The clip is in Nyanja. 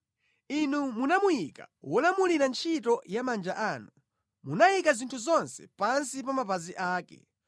Inu munamuyika wolamulira ntchito ya manja anu; munayika zinthu zonse pansi pa mapazi ake;